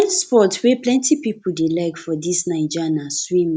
di kain sport wey plenty pipo dey like for dis naija na swimming